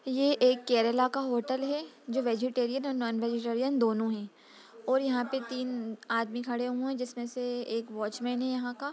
ये एक केरला का होटल हैं जो वेजिटेरियन और नॉन-वेजिटेरियन दोनों हैं और यहाँ पे तीन आदमी खड़े हुए हैं जिसमे से एक वॉचमेन हैं यहाँ का |